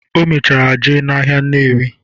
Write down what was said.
O mechara jee n'ahịa Nnewi.